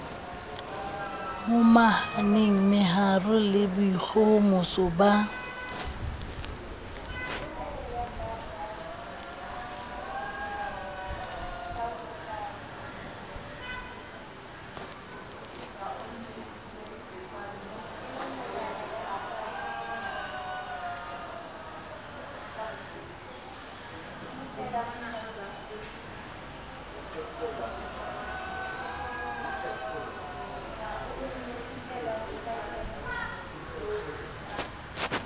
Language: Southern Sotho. momahane meharo le boikgohomoso ba